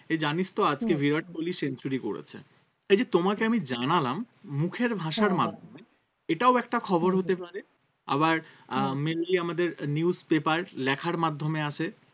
এই জানিস তো আজকে বিরাট কোহলি century করেছে এই যে তোমাকে আমি জানালাম মুখের ভাষার মাধ্যমে এটাও একটা খবর হতে পারে আবার আহ mainly আমাদের newspaper লেখার মাধ্যমে আছে